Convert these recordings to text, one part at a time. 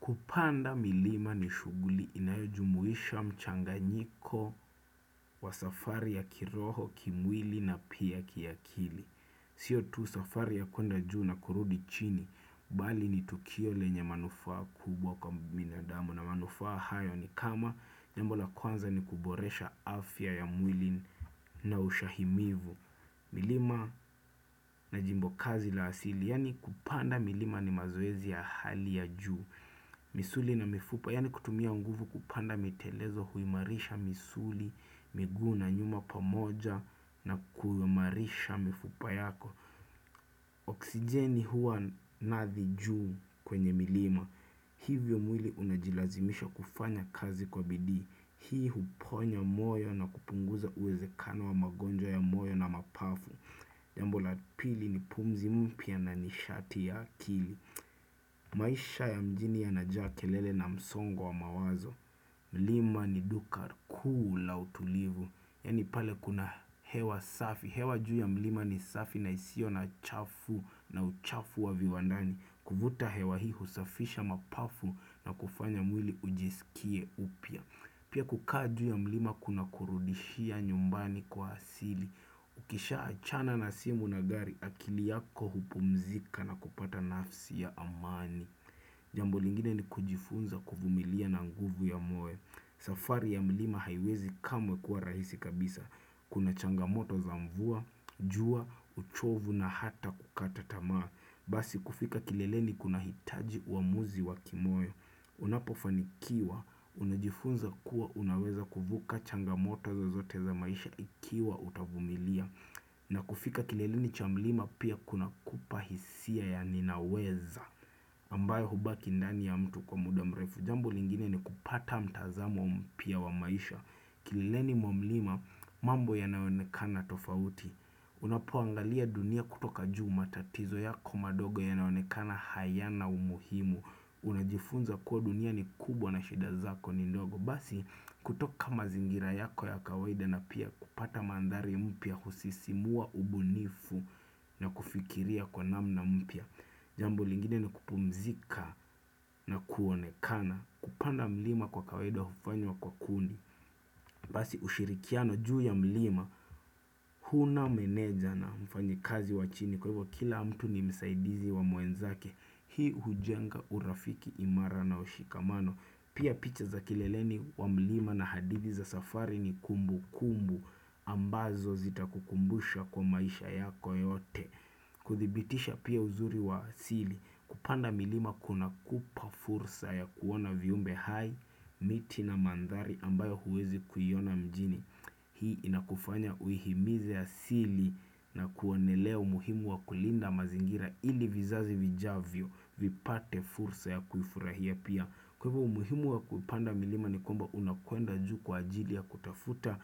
Kupanda milima ni shuguli inayojumuisha mchanganyiko wa safari ya kiroho, kimwili na pia kiakili. Siyo tu safari ya kuenda juu na kurudi chini, bali ni tukio lenye manufaa kubwa kwa binadamu na manufaa hayo ni kama jambo la kwanza ni kuboresha afya ya mwili na ushahimivu. Milima na jimbo kazi la asili, yani kupanda milima ni mazoezi ya hali ya juu misuli na mifupa, yani kutumia nguvu kupanda mitelezo huimarisha misuli, miguna nyuma pamoja na kuimarisha mifupa yako Oxijeni huwa nathi juu kwenye milima Hivyo mwili unajilazimisha kufanya kazi kwa bidii. Hii huponya moyo na kupunguza uwezekano wa magonjwa ya moyo na mapafu Jambo la pili ni pumzi mpia na nishati ya kili maisha ya mjini ya najakelele na msongo wa mawazo Lima ni duka kuu la utulivu. Yani pale kuna hewa safi. Hewa juu ya mlima ni safi na isio na chafu na uchafu wa viwandani kuvuta hewa hiu usafisha mapafu na kufanya mwili ujisikie upia Pia kukaa juu ya mlima kuna kurudishia nyumbani kwa asili ukisha achana na simu na gari akili yako hupumzika na kupata nafsi ya amani Jambo lingine ni kujifunza kuvumilia na nguvu ya moyo. Safari ya mlima haiwezi kamwe kuwa rahisi kabisa. Kuna changamoto za mvua, jua, uchovu na hata kukatatamaa. Basi kufika kilele ni kuna hitaji wa amuzi wa kimoyo Unapofanikiwa, unajifunza kuwa unaweza kuvuka changamoto zozote za maisha ikiwa utavumilia na kufika kilelini cha mlima pia kinakupa hisia ya ninaweza ambayo hubaki ndani ya mtu kwa muda mrefu. Jambo lingine ni kupata mtazamo mpia wa maisha. Kilelini mwa mlima mambo yanaonekana tofauti Unapuangalia dunia kutoka juu matatizo yako mandogo yanaonekana hayana umuhimu Unajifunza kuwa dunia ni kubwa na shida zako ni ndogo Basi kutoka mazingira yako ya kawaida na pia kupata mandari ya mpia husisimua ubunifu na kufikiria kwa namna mpia Jambo lingine ni kupumzika na kuonekana, kupanda mlima kwa kawaida hufanywa kwa kundi Basi ushirikiano juu ya mlima Huna meneja na mfanyikazi wachini, kwa hivyo kila mtu ni msaidizi wa mwenzake. Hii hujenga urafiki imara na ushikamano. Pia picha za kileleni wamlima na hadithi za safari ni kumbukumbu ambazo zita kukumbusha kwa maisha yako yote. Kuthibitisha pia uzuri wa siri kupanda milima kuna kupa fursa ya kuona viumbe hai miti na mandhari ambayo huwezi kuyona mjini. Hii inakufanya uihimize asili na kuonelea umuhimu wa kulinda mazingira ili vizazi vijavyo vipate fursa ya kuifurahia pia. Kwa hivyo umuhimu wa kuipanda milima ni kwamba unakuenda juu kwa ajili ya kutafuta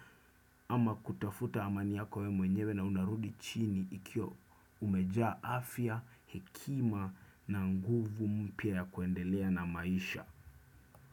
ama kutafuta amani yako we mwenyewe na unarudi chini ikio umeja afya, hekima na nguvu mpia ya kuendelea na maisha.